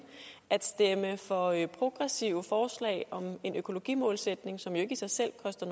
at stemme for progressive forslag om en økologimålsætning som jo ikke i sig selv koster